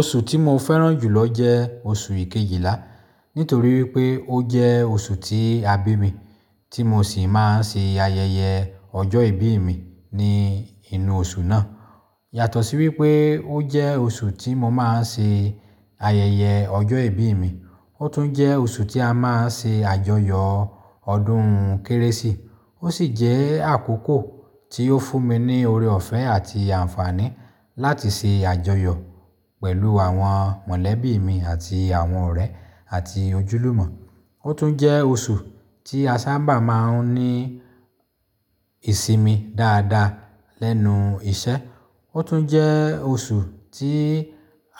Oṣù tí mo fẹ́ràn jùlọ jẹ́ oṣù kejìlá, nítorí pé ó jẹ́ oṣù tí a bí mi, tí mo sì máa ń ṣe ayẹyẹ ọjọ́ ìbí mi ní inú oṣù náà. Yàtọ̀ sí wípé ó jẹ́ oṣù tí mo máa ń ṣe ayẹyẹ ọjọ́ ìbí mi, ó tún jẹ́ oṣù tí a máa ń ṣe àjọyọ̀ ọdún kérésì. Ó sì jẹ́ àkókò tí ó fún mi ní ọre ọ̀fẹ́ àti àǹfààní láti ṣe àjọyọ̀ pẹ̀lú àwọn mọ̀lẹ́bí mi àti àwọn ọ̀rẹ́ àti ojúlùmọ̀. Ó tún jẹ́ oṣù tí a sábà máa ń ní ìsimi dáadáa lẹ́nu iṣẹ́. Ó tún jẹ́ oṣù tí